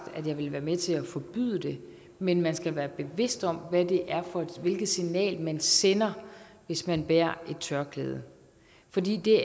at jeg ville være med til at forbyde det men man skal være bevidst om hvilket signal man sender hvis man bærer et tørklæde fordi det